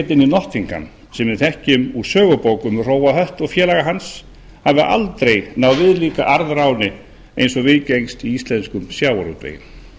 í nottingham sem við þekkjum úr sögubókum um hróa hött og félaga hans hafi aldrei náð viðlíka arðráni eins og viðgengst í íslenskum sjávarútvegi